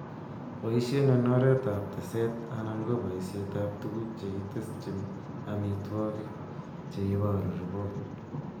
Boisien en oretab teset anan ko bosetab tuguk chekitesyin amitwogik cheiboru ripot.